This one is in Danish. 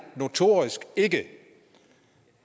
notorisk ikke